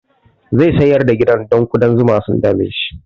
Zai sayar da gidan don ƙudan zuma sun dame su